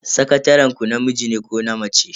Sakataren ku namiji ne ko na mace?